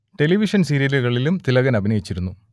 television സീരിയലുകളിലും തിലകൻ അഭിനയിച്ചിരുന്നു